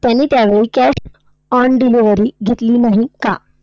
त्याने त्यावेळी cash on delivery घेतली नाही का?